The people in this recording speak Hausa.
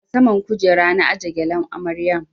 A saman kujera na aje gyalen amaryan